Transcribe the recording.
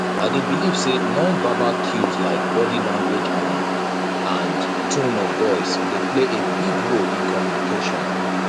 i dey believe say nonverbal cues like body language and and tone of voice dey play a big role in communication